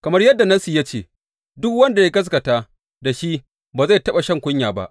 Kamar yadda Nassi ya ce, Duk wanda ya gaskata da shi ba zai taɓa shan kunya ba.